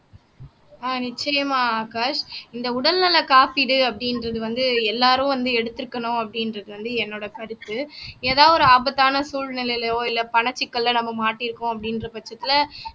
ஆஹ் நிச்சயமாக ஆகாஷ் இந்த உடல்நல காப்பீடு அப்படின்றது வந்து எல்லாரும் வந்து எடுத்திருக்கணும் அப்படின்றது வந்து என்னோட கருத்து ஏதாவது ஒரு ஆபத்தான சூழ்நிலையிலோ இல்ல பணச்சிக்கல்ல நம்ம மாட்டி இருக்கோம் அப்படின்ற பட்சத்துல